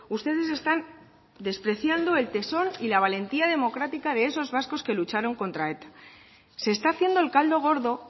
ustedes están despreciando el tesón y la valentía democrática de esos vascos que lucharon contra eta se está haciendo el caldo gordo